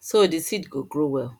so the seed go grow well